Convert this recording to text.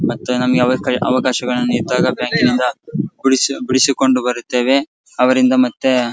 ಮತ್ತೆ ನಮಗೆ ಅವಕಾಯ್ ಅವಕಾಶಗಳಿದ್ದಾಗ ಬ್ಯಾಂಕಿನಿಂದ ಬಿಡಿಸು ಬಿಡಿಸಿಕೊಂಡು ಬರುತ್ತೇವೆ ಅವರಿಂದ ಮತ್ತೆ --